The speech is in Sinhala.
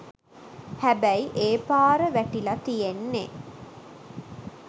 හැබැයි ඒ පාර වැටිලා තියෙන්නේ